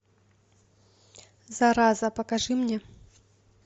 зараза покажи мне